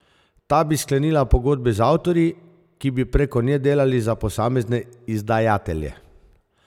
Ta bi sklenila pogodbe z avtorji, ki bi preko nje delali za posamezne izdajatelje.